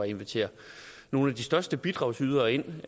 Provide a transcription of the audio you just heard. invitere nogle af de største bidragydere ind